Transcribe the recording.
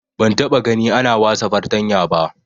Ban taba gani ana wasa fartanya ba